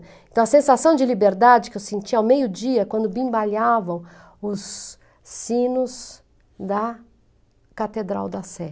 Então, a sensação de liberdade que eu sentia ao meio-dia, quando bimbalhavam os sinos da Catedral da Sé.